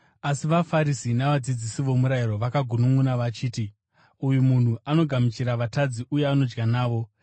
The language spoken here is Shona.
Asi vaFarisi navadzidzisi vomurayiro vakagununʼuna vachiti, “Uyu munhu anogamuchira vatadzi uye anodya navo.”